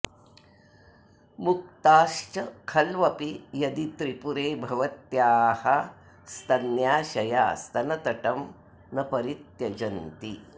मुक्ताश्च खल्वपि यदि त्रिपुरे भवत्याः स्तन्याशया स्तनतटं न परित्यजन्ति